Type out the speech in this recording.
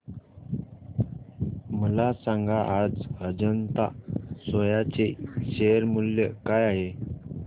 मला सांगा आज अजंता सोया चे शेअर मूल्य काय आहे